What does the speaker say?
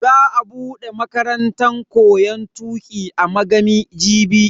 Za a bude makarantan koyon tuki a Magami jibi.